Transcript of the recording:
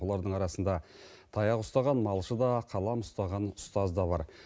олардың арасында таяқ ұстаған малшы да қалам ұстаған ұстаз да бар